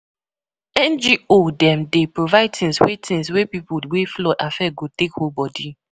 NGO dem dey provide tins wey tins wey pipu wey flood affect go take hold bodi.